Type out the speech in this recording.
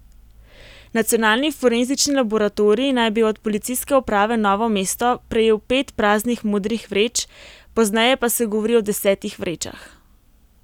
Nacionalni forenzični laboratorij naj bi od Policijske uprave Novo mesto prejel pet praznih modrih vreč, pozneje pa se govori o desetih vrečah.